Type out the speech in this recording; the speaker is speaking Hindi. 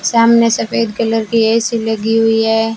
सामने सफेद कलर की ए_सी लगी हुई है।